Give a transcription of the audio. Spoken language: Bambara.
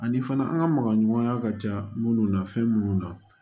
Ani fana an ka magaɲɔgɔnya ka ca minnu na fɛn minnu na